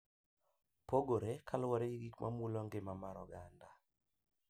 Pogore kaluwore gi gik ma mulo ngima mar oganda.